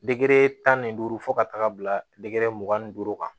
Degere tan ni duuru fo ka taaga bila dege mugan ni duuru kan